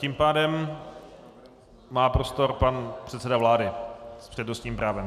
Tím pádem má prostor pan předseda vlády s přednostním právem.